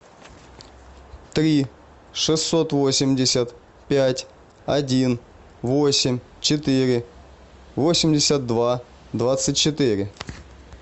три шестьсот восемьдесят пять один восемь четыре восемьдесят два двадцать четыре